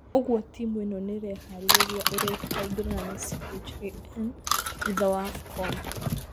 Ũguo timũ ĩno nĩĩreharĩria ũrĩa ĩkaingĩrana na CHAN thutha wa AFCON